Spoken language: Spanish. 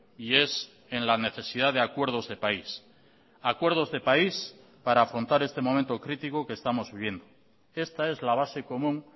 y es en la necesidad de acuerdos de país acuerdos de país para afrontar este momento crítico que estamos viviendo esta es la base común